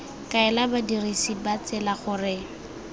kaela badirisi ba tsela gore